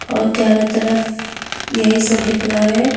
और चारों तरफ यही सब दिख रहा है।